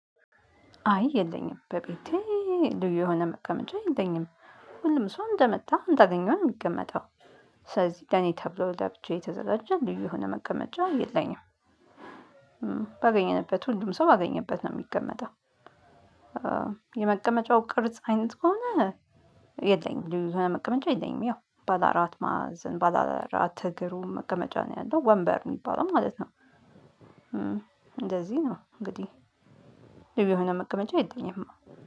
አይ የለኝም በቤቴ ልዩ የሆነ መቀመጫ የለኝም ሁሉም ሰው እንደመጣ እንዳገኘው ነው የሚቀመጠው። ስለዚህ ለኔ ተብሎ ለብቻዬ የተዘጋጀ ልዩ የሆነ መቀመጫ የለኝም። ባገኘንበት ሁሉም ሰው ባገኘበት ነው የሚቀመጠው። የመቀመጫው ቅርጽ አይነት ከሆነ የለኝም የብዙ መቀመጫ የለኝም ያው ባለአራት ማዕዘን ባለአራት እግሩ መቀመጫ ነው ያለው ወንበር የሚባለው ማለት ነው። እንደዚህ ነው እንግዲህ። ልዩ የሆነ መቀመጫ የለኝም።